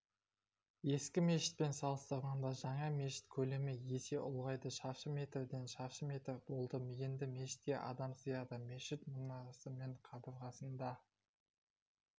ескі мешітпен салыстырғанда жаңа мешіт көлемі есе ұлғайды шаршы метрден шаршы метр болды енді мешітке адам сыяды мешіт мұнарасы мен қабырғасында